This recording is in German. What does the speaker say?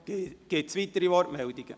Gibt es weitere Wortmeldungen?